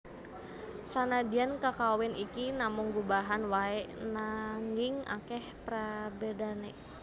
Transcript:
Sanadyan kakawin iki namung gubahan waé nanging akèh prabédané